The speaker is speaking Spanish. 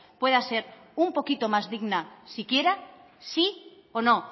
pueda ser un poquito más digna si quiera sí o no